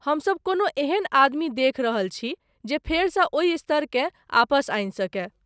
हमसभ कोनो एहन आदमी देखि रहल छी जे फेरसँ ओहि स्तरकेँ आपस आनि सकय।